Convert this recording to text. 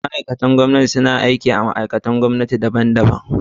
Ma’aikatan gwamnati suna aiki a ma’aikatun gwamnati daban-daban.